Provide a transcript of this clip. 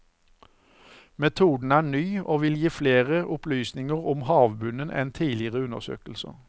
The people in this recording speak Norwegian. Metoden er ny og vil gi flere opplysninger om havbunnen enn tidligere undersøkelser.